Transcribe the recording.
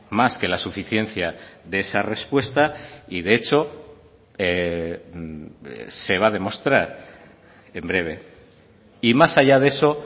más que la suficiencia de esa respuesta y de hecho se va a demostrar en breve y más allá de eso